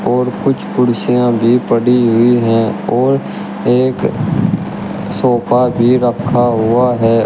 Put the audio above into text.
और कुछ कुर्सियां भी पड़ी हुई हैं और एक सोफा भी रखा हुआ है।